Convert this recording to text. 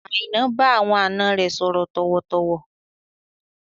Aina bá àwọn àna rẹ sọ̀rọ̀ tọ̀wọ̀-tọ̀wọ̀